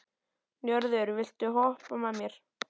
Njörður, viltu hoppa með mér?